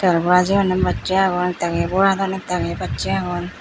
tel bora jeyonney bassey agon ek dagiye boradon ek dagiye bassey agon.